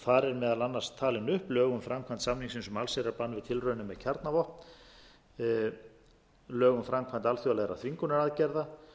eru meðal annars talin upp lög um framkvæmd samningsins um allsherjarbann við tilraunum með kjarnavopn lög um framkvæmd alþjóðlegra þvingunaraðgerða